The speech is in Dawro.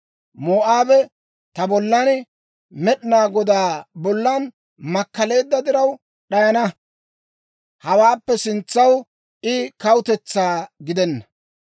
Moo'aabe ta bollan, Med'inaa Godaa bollan makkaleedda diraw d'ayana; hawaappe sintsaw I kawutetsaa gidenna.